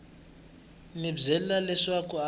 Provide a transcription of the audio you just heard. n wi byela leswaku a